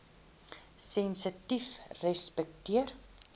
sensitiefrespekteer